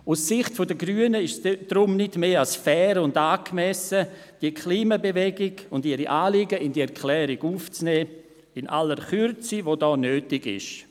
Aus Sicht der Grünen ist es deshalb nicht mehr als fair und angemessen, die Klimabewegung und ihre Anliegen in die Erklärung aufzunehmen – in aller Kürze, die nötig ist.